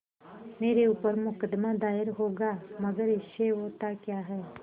मेरे ऊपर मुकदमा दायर होगा मगर इससे होता क्या है